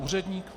Úředník?